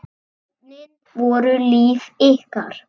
Börnin voru líf ykkar.